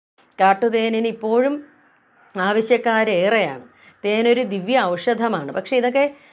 കാട്ടുതേനിനു ഇപ്പോഴും ആവശ്യക്കാരേറെയാണ് തേനൊരു ദിവ്യ ഔഷധമാണ് പക്ഷേ ഇതൊക്കെ